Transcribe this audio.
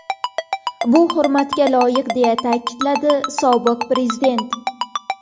Bu hurmatga loyiq”, deya ta’kidladi sobiq prezident.